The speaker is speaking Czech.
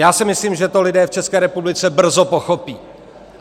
Já si myslím, že to lidé v České republice brzo pochopí.